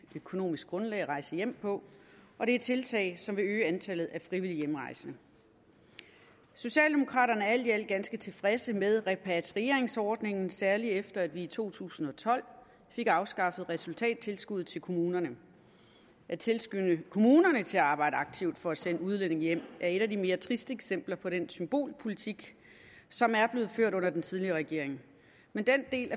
økonomisk grundlag at rejse hjem på og det er tiltag som vil øge antallet af frivillig hjemrejsende socialdemokraterne er alt i alt ganske tilfredse med repatrieringsordningen særlig efter at vi i to tusind og tolv fik afskaffet resultattilskuddet til kommunerne at tilskynde kommunerne til at arbejde aktivt for at sende udlændinge hjem er et af de mere triste eksempler på den symbolpolitik som blev ført under den tidligere regering men den del